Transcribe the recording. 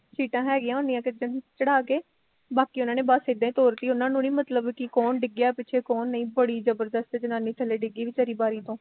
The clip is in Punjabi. ਸੀਟਾਂ ਹੈਗੀਆ ਹੁੰਦੀਆ ਤੇ ਚੜਾ ਕੇ ਬਾਕੀ ਉਹਨਾਂ ਨੇ ਬਸ ਇਦਾਂ ਈ ਤੋਰਤੀ ਉਹਨਾਂ ਨੂੰ ਨੀ ਮਤਲਬ ਕੀ ਕੋਣ ਡਿੱਗਿਆ ਪਿੱਛੇ ਕੋਣ ਨਹੀਂ ਬੜੀ ਜਬਰਦਸਤ ਜਨਾਨੀ ਥੱਲੇ ਡਿੱਗੀ ਵੀਚਾਰੀ ਬਾਰੀ ਤੋਂ